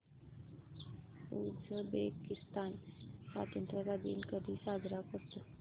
Uzbekistan स्वतंत्रता दिन कधी साजरा करतो